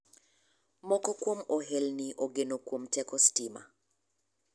Moko kuom ohelni ogeno kuom teko sitima .